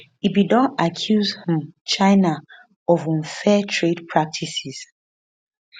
e bin don accuse um china of unfair trade practices